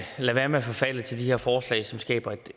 være med at forfalde til de her forslag som skaber et